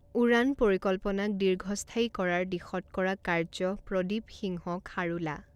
উড়ান পৰিকল্পনাক দীৰ্ঘস্থায়ী কৰাৰ দিশত কৰা কাৰ্য প্ৰদীপ সিংহ খাৰোলা